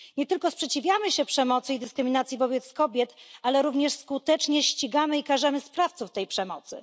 Nie tylko sprzeciwiamy się przemocy i dyskryminacji wobec kobiet, ale również skutecznie ścigamy i karzemy sprawców tej przemocy.